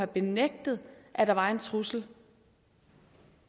benægtet at der var en trussel